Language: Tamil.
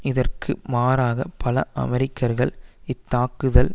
இதற்கு மாறாக பல அமெரிக்கர்கள் இத்தாக்குதல்